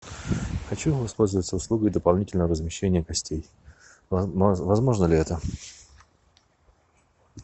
хочу воспользоваться услугой дополнительного размещения гостей возможно ли это